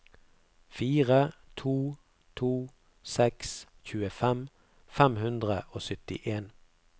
fire to to seks tjuefem fem hundre og syttien